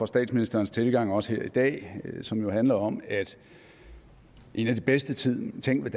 statsministerens tilgang også her i dag som jo handler om at en af de bedste ting ting ved